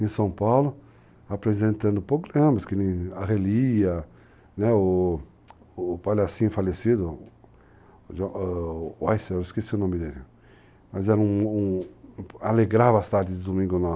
em São Paulo, apresentando problemas, como a Relia, o palhacinho falecido, o Weiser, eu esqueci o nome dele, mas era um, um, alegrava as tardes de Domingo nosso.